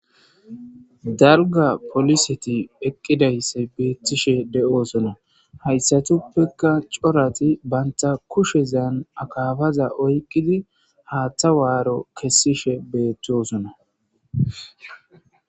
darga poliseti eqqidaysse beethishe de7oosona hayssatuppeka corati banta kushezan akaabaza oykqidi haaththa waaro kessishe beettosona